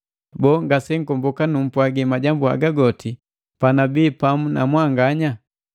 Boo, ngase nkomboka numpwagi majambu haga goti panabi pamu na mwanganya?